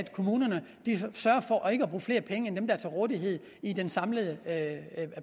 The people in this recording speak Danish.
kommunerne sørger for ikke at bruge flere penge end dem der er til rådighed i den samlede